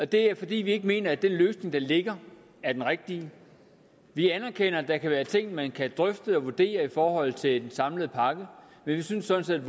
det er fordi vi ikke mener at den løsning der ligger er den rigtige vi anerkender at der kan være ting man kan drøfte og vurdere i forhold til den samlede pakke men vi synes sådan